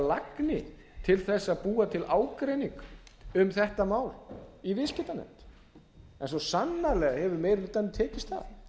lagni til þess að búa til ágreining um þetta mál í viðskiptanefnd en svo sannarlega hefur meiri hlutanum tekist það